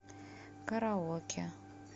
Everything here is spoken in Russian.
караоке